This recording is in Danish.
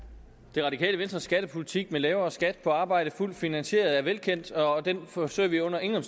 det radikale venstres skattepolitik med lavere skat på arbejde fuldt finansieret er velkendt og den forsøger vi under ingen